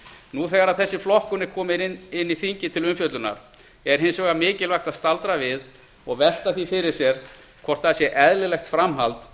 nú þegar þessi flokkun er komin ínn í þingið til umfjöllunar er hins vegar mikilvægt að staldra við og velta því upp hvort það sé eðlilegt framhald